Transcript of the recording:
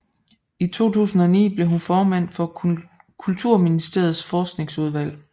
I 2009 blev hun formand for Kulturministeriets forskningsudvalg